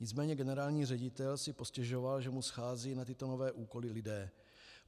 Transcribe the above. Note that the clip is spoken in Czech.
Nicméně generální ředitel si postěžoval, že mu scházejí na tyto nové úkoly lidé.